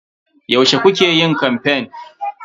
Yaushe kukayi kamfen?